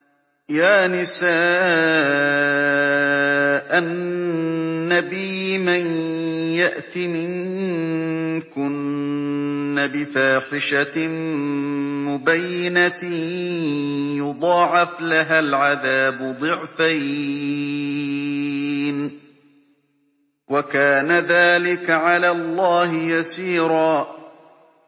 يَا نِسَاءَ النَّبِيِّ مَن يَأْتِ مِنكُنَّ بِفَاحِشَةٍ مُّبَيِّنَةٍ يُضَاعَفْ لَهَا الْعَذَابُ ضِعْفَيْنِ ۚ وَكَانَ ذَٰلِكَ عَلَى اللَّهِ يَسِيرًا